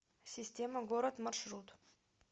система город маршрут